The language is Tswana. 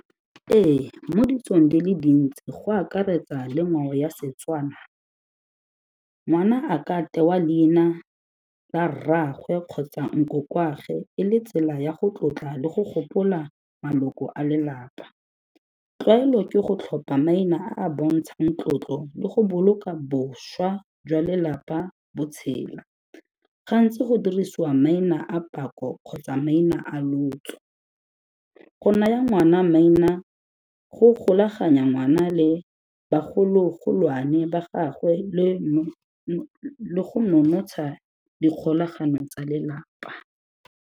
Ee, mo ditsong di le dintsi go akaretsa le ngwao ya Setswana, ngwana a ka tewa leina la rraagwe kgotsa nkokoagwe e le tsela ya go tlotla le go gopola maloko a lelapa. Tlwaelo ke go tlhopha maina a a bontshang tlotlo le go boloka bošwa jwa lelapa bo tshela. Gantsi go dirisiwa maina a pako kgotsa maina a lotso. Go naya ngwana maina go golaganya ngwana le bagolo-golwane ba gagwe le go nonotsha dikgolagano tsa lelapa.